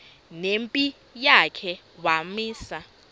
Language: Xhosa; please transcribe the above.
nempi yakhe wamisa